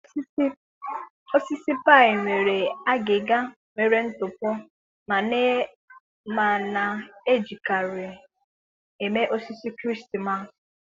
Osisi pine nwere agịga nwere ntụpọ ma na-ejikarị eme osisi Krismas.